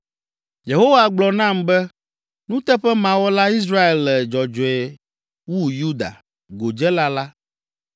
Yehowa gblɔ nam be, “Nuteƒemawɔla Israel le dzɔdzɔe wu Yuda, godzela la.